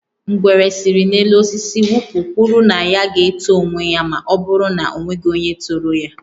Ngwere si n'elu osisi wụpụ kwụrụ na ya ga-eto onwe ya ma ọ bụrụ na e nweghị onye toro ya